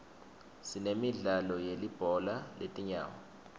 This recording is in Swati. sinemidlalo yelibhola letinyawo